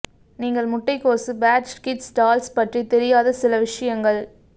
நீங்கள் முட்டைக்கோசு patch kids dolls பற்றி தெரியாத சில விஷயங்கள்